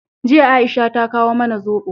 Jiya, Aisha ta kawo mana zobo.